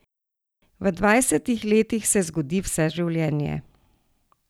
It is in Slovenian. V dvajsetih letih se zgodi vse življenje.